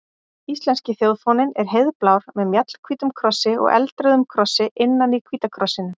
Íslenski þjóðfáninn er heiðblár með mjallhvítum krossi og eldrauðum krossi innan í hvíta krossinum.